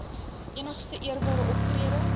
enigste eerbare optrede